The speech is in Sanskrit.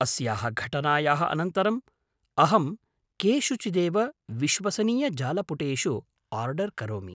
अस्याः घटनायाः अनन्तरम्, अहं केषुचिदेव विश्वसनीयजालपुटेषु आर्डर् करोमि।